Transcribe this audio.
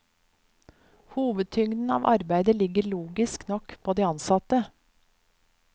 Hovedtyngden av arbeidet ligger logisk nok på de ansatte.